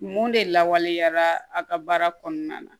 Mun de lawaleyara a ka baara kɔnɔna na